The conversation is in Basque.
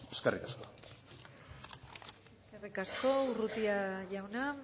eskerrik asko eskerrik asko urrutia jauna